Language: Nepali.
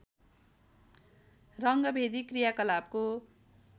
रङ्गभेदी क्रियाकलापको